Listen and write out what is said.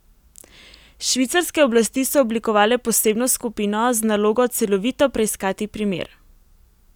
Švicarske oblasti so oblikovale posebno skupino z nalogo celovito preiskati primer.